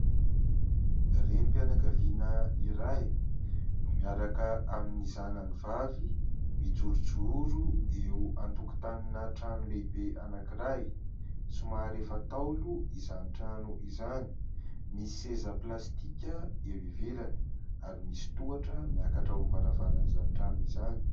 Renim-pianakaviana iray no miaraka amin'ny zanany vavy mijorojoro eo an-tokotanina trano lehibe anankiray. Somary efa taolo izany trano izany. Misy seza plastika eo ivelany ary misy tohatra miakatra ao amin'ny varavaran'izany trano izany.